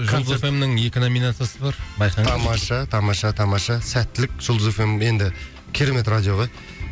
жұлдыз эф эм нің екі номинациясы бар байқаңдар тамаша тамаша тамаша сәттілік жұлдыз эф эм енді керемет радио ғой